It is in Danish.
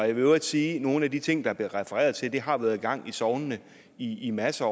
i øvrigt sige at nogle af de ting der blev refereret til har været i gang i sognene i i masser